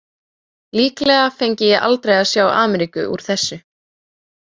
Líklega fengi ég aldrei að sjá Ameríku úr þessu.